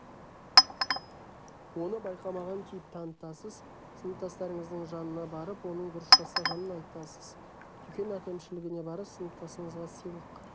оны байқамаған кейіп танытасыз сыныптасыңыздың жанына барып оның дұрыс жасағанын айтасыз дүкен әкімшілігіне барып сыныптасыңызға сыйлық